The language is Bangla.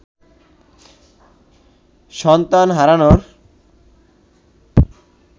সন্তান হারানোর